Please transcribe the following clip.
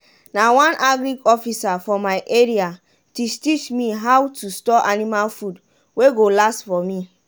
na one agric officer for my area teach teach me how to store anima food wey go last for me.